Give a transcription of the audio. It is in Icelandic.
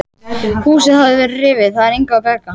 Húsið hafði verið rifið, það var engu að bjarga.